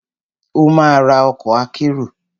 Ó ma ra ọkọ̀ akérò.